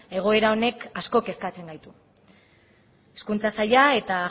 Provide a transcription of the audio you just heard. egoera honek asko kezkatzen gaitu hezkuntza saila eta